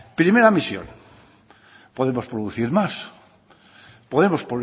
primera misión podemos producir más podemos